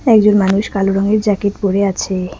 একজন মানুষ কালো রঙের জ্যাকেট পড়ে আছে।